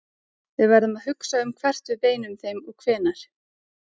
Við verðum að hugsa um hvert við beinum þeim og hvenær.